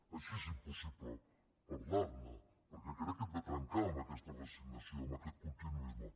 així és impossible parlar ne perquè crec que hem de trencar amb aquesta resignació amb aquest continuisme